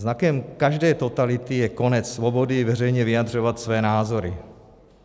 Znakem každé totality je konec svobody veřejně vyjadřovat své názory.